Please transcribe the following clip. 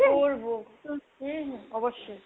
করবো হুম হুম অবশ্যই।